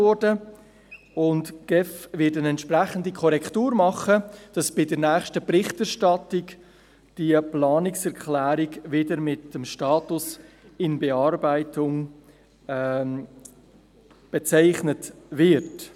Die GEF wird eine entsprechende Korrektur vornehmen, damit diese Planungserklärung bei der nächsten Berichterstattung wieder mit dem Status «in Bearbeitung» gekennzeichnet wird.